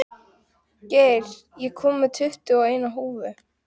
Geir, ég kom með tuttugu og eina húfur!